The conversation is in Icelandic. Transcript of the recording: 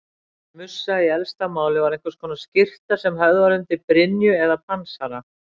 Mussa í elsta máli var einhvers konar skyrtu sem höfð var undir brynju eða pansara.